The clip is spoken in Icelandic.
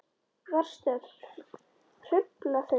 Varstu að hrufla þig vinur?